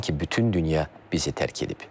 Sanki bütün dünya bizi tərk edib.